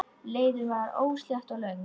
Leiðin var óslétt og löng.